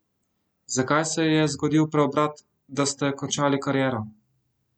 Zakaj se je zgodil preobrat, da ste končali kariero?